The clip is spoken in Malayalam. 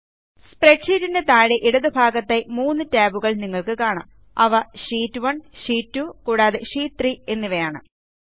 സ്പ്രെഡ്ഷീറ്റിൻറെ താഴെ ഇടതുഭാഗത്തായി മൂന്ന് ടാബുകൾ നിങ്ങൾക്ക് കാണാം അവ ഷീറ്റ്1 ഷീറ്റ് 2 കൂടാതെ ഷീറ്റ് 3 എന്നിവയാണ്